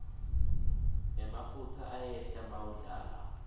emafutsa ayehla mawudlala